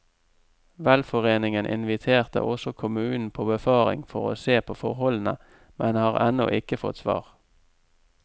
Velforeningen inviterte også kommunen på befaring for å se på forholdene, men har ennå ikke fått svar.